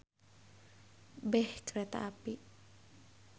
Beh kareta api.